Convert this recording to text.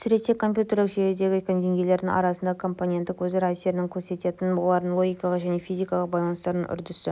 суретте компьютерлік жүйелердегі деңгейлердің арасындағы компоненттік өзара әсерін көрсететін олардың логикалық және физикалық байланыстарының үрдісі